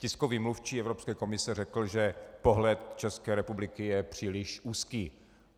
Tiskový mluvčí Evropské komise řekl, že pohled České republiky je příliš úzký.